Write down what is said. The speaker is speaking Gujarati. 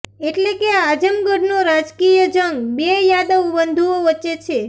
એટલે કે આઝમગઢનો રાજકિય જંગ બે યાદવ બંધુઓ વચ્ચે છે